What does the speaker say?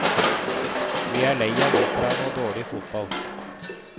Vi er lei av opera og dårlig fotball.